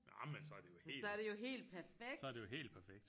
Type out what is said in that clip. Nå men så er det jo helt så er det jo helt perfekt